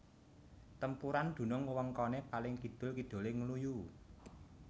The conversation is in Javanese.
Tempuran dunung wewengkone paling kidul kidule Ngluyu